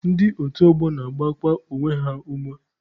Ndị otu ọgbọ na-agbakwa onwe ha ume.